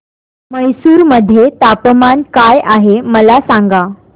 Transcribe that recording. म्हैसूर मध्ये तापमान काय आहे मला सांगा